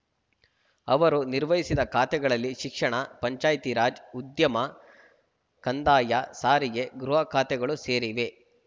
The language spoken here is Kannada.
ಅವರು ನಿರ್ವಹಿಸಿದ ಖಾತೆಗಳಲ್ಲಿ ಶಿಕ್ಷಣ ಪಂಚಾಯ್ತಿರಾಜ್‌ ಉದ್ಯಮ ಕಂದಾಯ ಸಾರಿಗೆ ಗೃಹಖಾತೆಗಳು ಸೇರಿವೆ